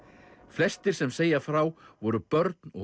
flestir sem segja frá voru börn og